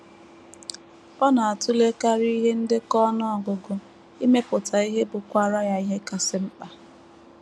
Ọ na - atụlekarị ihe ndekọ ọnụ ọgụgụ, imepụta ihe bụkwaara ya ihe kasị mkpa.